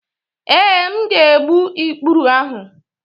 Ee, m ga-egbu ikpụrụ ahụ.